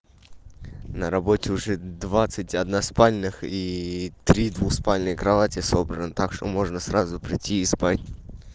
на работе уже двадцать одна спальнях и три двуспальные кровати собран так что можно сразу прийти и спать